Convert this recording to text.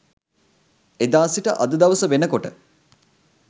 එදා සිට අද දවස වෙනකොට